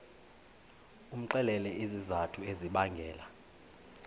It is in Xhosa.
umxelele izizathu ezibangela